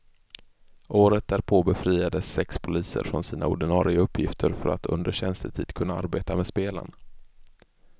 Året därpå befriades sex poliser från sina ordinare uppgifter för att under tjänstetid kunna arbeta med spelen.